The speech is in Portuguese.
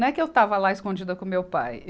Não é que eu estava lá escondida com meu pai.